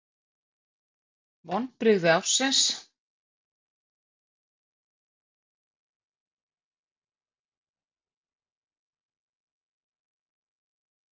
Vonbrigði ársins?